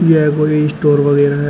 यह कोई स्टोर वगैरा है।